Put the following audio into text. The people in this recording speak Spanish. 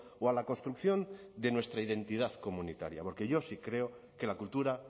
o a la construcción de nuestra identidad comunitaria porque yo sí creo que la cultura